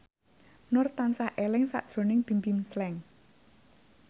Nur tansah eling sakjroning Bimbim Slank